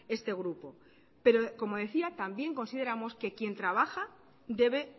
este grupo pero como decía también consideramos que quien trabaja debe